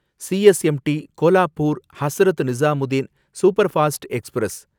CSMT Kolhapur Hazrat Nizamuddin superfast express